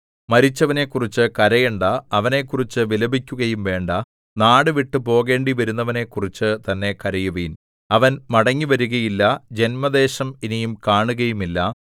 മരിച്ചവനെക്കുറിച്ചു കരയണ്ടാ അവനെക്കുറിച്ചു വിലപിക്കുകയും വേണ്ടാ നാടുവിട്ടു പോകേണ്ടിവരുന്നവനെക്കുറിച്ചു തന്നെ കരയുവിൻ അവൻ മടങ്ങിവരുകയില്ല ജന്മദേശം ഇനി കാണുകയുമില്ല